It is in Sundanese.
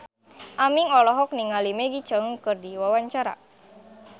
Aming olohok ningali Maggie Cheung keur diwawancara